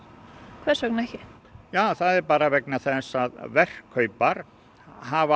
hvers vegna ekki það er bara vegna þess að verkkaupar hafa